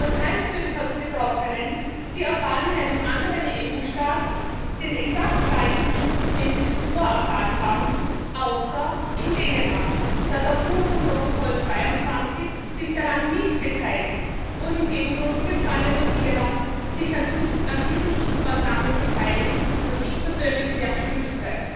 Das heißt für die Betroffenen Sie erfahren in einem anderen EU Staat den exakt gleichen Schutz, den sie zuvor erfahren haben außer in Dänemark, das sich aufgrund von Protokoll 22 daran nicht beteiligt, wogegen Großbritannien und Irland sich an diesen Schutzmaßnahmen beteiligen, was ich persönlich sehr begrüße.